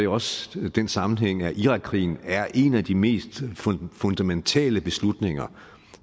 også den sammenhæng at deltagelse i irakkrigen er en af de mest fundamentale beslutninger